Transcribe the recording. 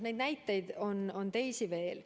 Neid näiteid on teisi veel.